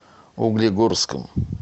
углегорском